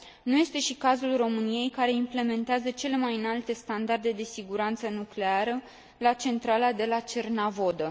Nu este și cazul României, care implementează cele mai înalte standarde de siguranță nucleară la centrala de la Cernavodă.